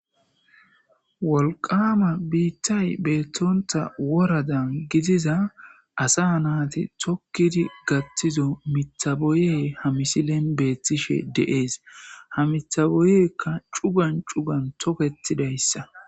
wolqama biittay beettonta woradan gidiza asa naati tokkidi gattizo mithaboye ha misilen beethtishe deees ha mithaboyekka cugan cugan toketidayssa